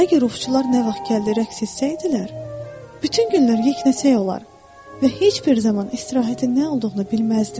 Əgər ovçular nə vaxt gəldi rəqs etsəydilər, bütün günlər yeknəsək olar və heç bir zaman istirahətin nə olduğunu bilməzdim.